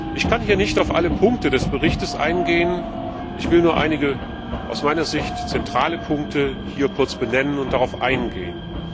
Ich kann hier nicht auf alle Punkte des Berichts eingehen, ich will nur einige aus meiner Sicht zentrale Punkte kurz benennen und darauf eingehen.